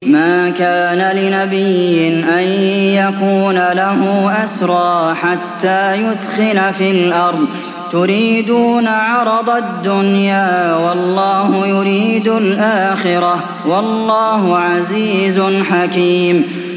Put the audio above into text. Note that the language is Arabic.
مَا كَانَ لِنَبِيٍّ أَن يَكُونَ لَهُ أَسْرَىٰ حَتَّىٰ يُثْخِنَ فِي الْأَرْضِ ۚ تُرِيدُونَ عَرَضَ الدُّنْيَا وَاللَّهُ يُرِيدُ الْآخِرَةَ ۗ وَاللَّهُ عَزِيزٌ حَكِيمٌ